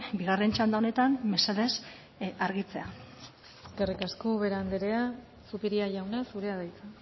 bigarren txanda honetan mesedez argitzea eskerrik asko ubera andrea zupiria jauna zurea da hitza